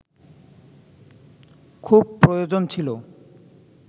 খুব প্রয়োজন ছিল